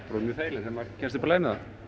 þegar maður kemst upp á lagið með þetta